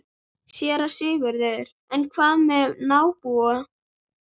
SÉRA SIGURÐUR: En hvað með nábúa.